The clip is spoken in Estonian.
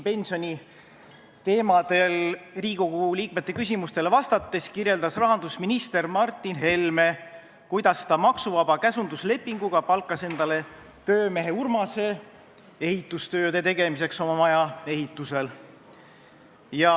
Pensioniteemadel Riigikogu liikmete küsimustele vastates kirjeldas rahandusminister Martin Helme, kuidas ta maksuvaba käsunduslepinguga palkas oma maja ehitusel endale töömees Urmase ehitustööde tegemiseks.